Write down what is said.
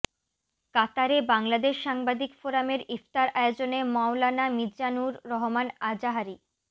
কাতারে বাংলাদেশ সাংবাদিক ফোরামের ইফতার আয়োজনে মাওলানা মিজানুর রহমান আযাহারী